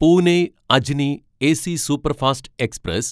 Pune Ajni AC superfast express